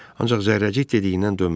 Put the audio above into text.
Ancaq zərrəcik dediyindən dönmədi.